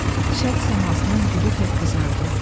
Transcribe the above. Şərq səmasının gülü tək qızardı.